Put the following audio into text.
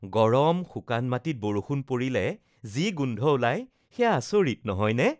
গৰম, শুকান মাটিত বৰষুণ পৰিলে যি গোন্ধ ওলায়, সেয়া আচৰিত, নহয়নে?